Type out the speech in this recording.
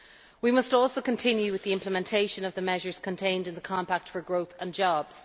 We must also continue with the implementation of the measures contained in the Compact for Growth and Jobs.